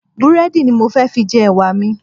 Búrẹ́dì ni mo fẹ́ fi jẹ Ẹ̀wà mi.